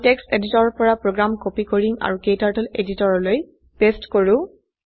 আমি টেক্সট এডিটৰৰ পৰা প্ৰোগ্ৰাম কপি কৰিম আৰু ক্টাৰ্টল এডিটৰলৈ পেস্ট কৰো